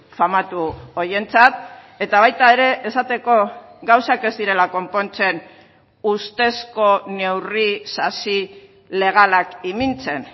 famatu horientzat eta baita ere esateko gauzak ez direla konpontzen ustezko neurri sasi legalak ipintzen